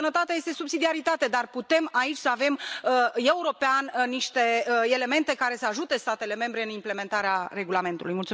Sănătatea este sub subsidiaritate, dar putem aici să avem, european, niște elemente care să ajute statele membre în implementarea regulamentului.